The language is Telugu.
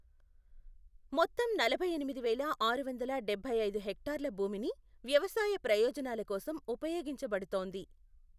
మొత్తం నలభై ఎనిమిది వేల ఆరు వందల డబ్బై ఐదు హెక్టార్ల భూమిని వ్యవసాయ ప్రయోజనాల కోసం ఉపయోగించబడుతోంది.